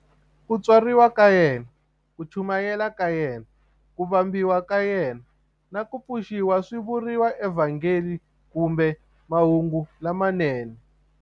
Ku tswariwa ka yena, ku chumayela ka yena, ku vambiwa ka yena, na ku pfuxiwa swi vuriwa eVhangeli kumbe"Mahungu lamanene".